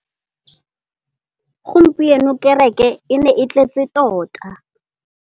Gompieno kêrêkê e ne e tletse tota.